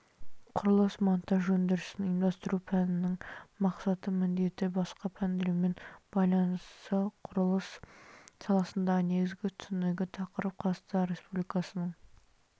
құрылыс монтаж өндірісін ұйымдастыру пәнінің мақсаты міндеті басқа пәндермен байланысы құрылыс саласындағы негізгі түсінігі тақырып қазақстан республикасының